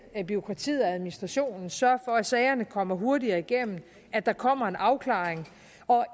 bureaukratiet og administrationen at sørge for at sagerne kommer hurtigt igennem at der kommer en afklaring og